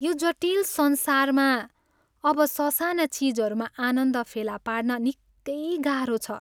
यो जटिल संसारमा अब ससाना चिजहरूमा आनन्द फेला पार्न निकै गाह्रो छ।